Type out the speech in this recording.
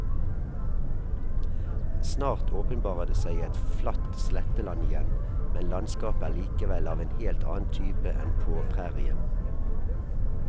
Snart åpenbarer det seg et flatt sletteland igjen, men landskapet er likevel av en helt annen type enn på prærien.